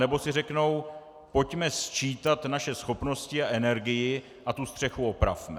Anebo si řeknou: pojďme sčítat naše schopnosti a energii a tu střechu opravme.